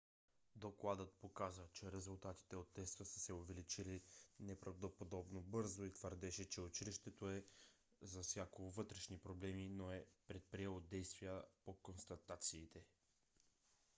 докладът показа че резултатите от теста са се увеличили неправдоподобно бързо и твърдеше че училището е засякло вътрешни проблеми но не е предприело действия по констатациите